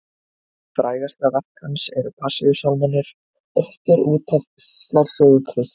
Frægasta verk hans eru Passíusálmarnir, ortir út af píslarsögu Krists.